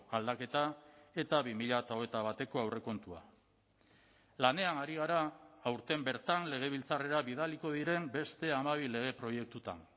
aldaketa eta bi mila hogeita bateko aurrekontua lanean ari gara aurten bertan legebiltzarrera bidaliko diren beste hamabi lege proiektutan